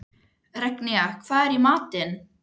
Regína, hvað er í matinn?